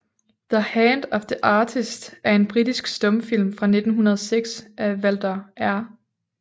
The Hand of the Artist er en britisk stumfilm fra 1906 af Walter R